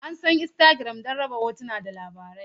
An san Instagram don raba hotuna da labarai.